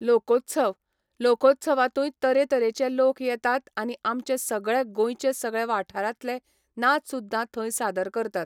लोकोत्सव, लोकोत्सवांतूय तरेतरेचे लोक येतात आनी आमचे सगळे गोंयचे सगळे वाठारांतलें नाच सुद्दां थंय सादर करतात.